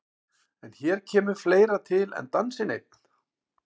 En hér kemur fleira til en dansinn einn.